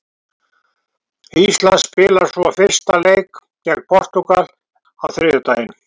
Ísland spilar svo fyrsta leik gegn Portúgal á þriðjudaginn.